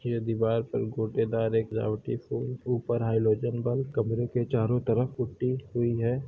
यह दीवार पर गोटेदार एक रावटी फूल ऊपर हाइलोजन बल्ब कमरे के चारों तरफ पुट्टी हुई है।